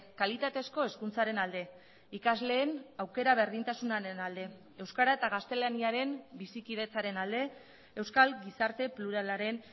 kalitatezko hezkuntzaren alde ikasleen aukera berdintasunaren alde euskara eta gaztelaniaren bizikidetzaren alde euskal gizarte pluralaren